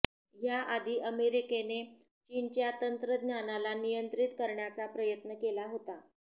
याआधी अमेरिकेने चीनच्या तंत्रज्ञानाला नियंत्रित करण्याचा प्रयत्न केला होता